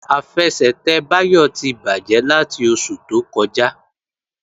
Àfẹsẹ̀tẹ̀ Báyọ̀ ti bàjẹ́ láti oṣù tó kọjá